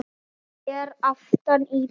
Hann er aftan í bílnum!